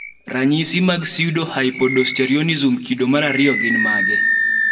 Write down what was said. ranyisi mag Pseudohypoaldosteronism kodo mar ariyo gin mage?